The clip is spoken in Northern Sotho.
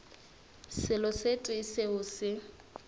selo se tee seo se